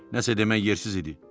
Nəsə demək yersiz idi.